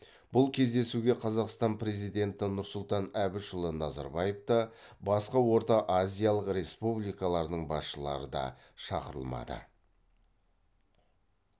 бұл кездесуге қазақстан президенті нұрсұлтан әбішұлы назарбаев та басқа орта азиялық республикалардың басшылары да шақырылмады